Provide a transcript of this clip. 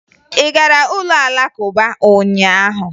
Ị gara ụlọ Alakụba ụnyaahụ?